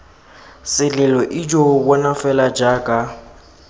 selelo ijo bona fela jaaka